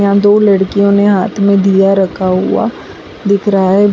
यहां दो लड़कियों ने हाथ में दिया रखा हुआ दिख रहा है।